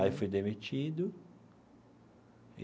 Aí fui demitido.